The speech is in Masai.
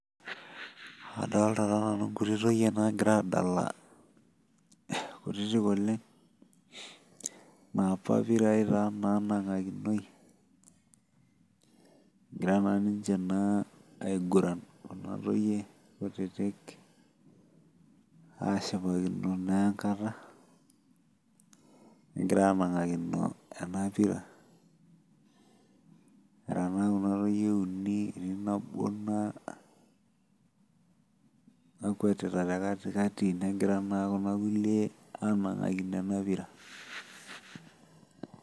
adolta taa nanu inkuti toyie naa gira adala kutitik oleng inapa pira naa nang'akinoi egira naa niche kuna toyie ashipakino naa enkata, anakino ena pira nera naa kuna toyie uni etii naa nabo nakuetita tekatikati negira naa kuna kulie anakino enapira.